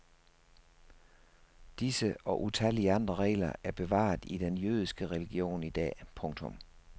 Disse og utallige andre regler er bevaret i den jødiske religion til idag. punktum